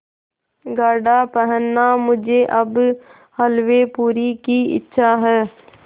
गाढ़ा पहनना मुझे अब हल्वेपूरी की इच्छा है